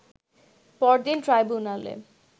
পরদিন ট্রাইব্যুনালে